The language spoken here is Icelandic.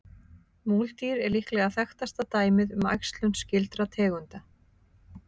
Múldýr er líklega þekktasta dæmið um æxlun skyldra tegunda.